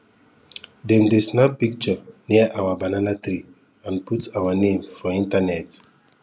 dem dey snap picture near our banana tree and put our name for internet